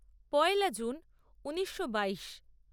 পয়লা জুন ঊনিশো বাইশ